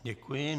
Děkuji.